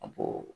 A ko